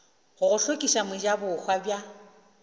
go go hlokiša mojabohwa bja